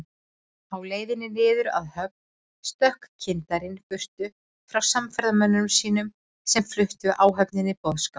Á leiðinni niður að höfn stökk kyndarinn burtu frá samferðamönnum sínum, sem fluttu áhöfninni boðskap